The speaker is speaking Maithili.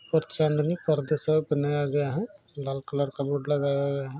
और चाँदनी शॉप बनाया गया है लाल कलर का बोर्ड लगाया गया है।